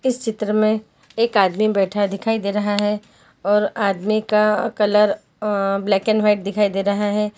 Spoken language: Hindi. इस चित्र में एक आदमी बैठा दिखाई दे रहा है और आदमी का colour uh black and white दिखाई दे रहा है।